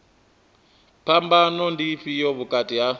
phambano ndi ifhio vhukati ha